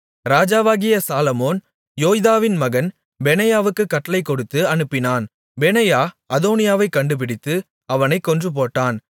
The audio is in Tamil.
ராஜாவாகிய சாலொமோன் யோய்தாவின் மகன் பெனாயாவுக்குக் கட்டளைக் கொடுத்து அனுப்பினான் பெனாயா அதோனியாவைக் கண்டுபிடித்து அவனைக் கொன்றுபோட்டான்